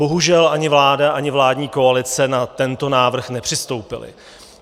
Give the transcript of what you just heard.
Bohužel ani vláda, ani vládní koalice na tento návrh nepřistoupily.